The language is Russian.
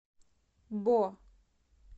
бо